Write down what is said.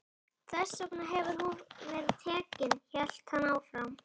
Þess vegna hefur hún verið tekin, hélt hann áfram.